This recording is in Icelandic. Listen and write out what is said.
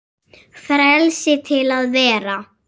Frelsi til að vera.